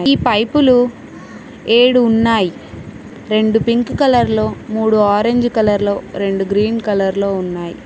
ఈ పైపులు ఏడు ఉన్నాయ్ రెండు పింక్ కలర్ లో మూడు ఆరెంజ్ కలర్ లో రెండు గ్రీన్ కలర్ లో ఉన్నాయ్.